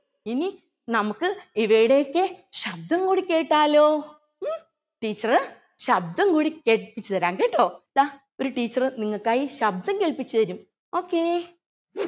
ഇനി നമുക്ക് ഇവയുടെ ഒക്കെ ശബ്ദം കൂടി കേട്ടാലോ ഉം teacher ശബ്‌ദം കൂടി കേൾപ്പിച്ചു തരാം കേട്ടോ ദാ ഒരു teacher നിങ്ങൾക്കായി ശബ്‌ദം കേൾപ്പിച്ചു തരും okay